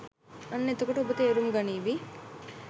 අන්න එතකොට ඔබ තේරුම් ගනීවි